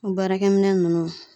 O baarakɛminɛn ninnu